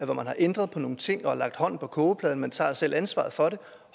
hvor man har ændret nogle ting og lagt hånden på kogepladen man tager selv ansvaret for det og